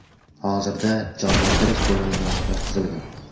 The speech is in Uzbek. Hozirda jonlantirish bo‘limiga yotqizilgan.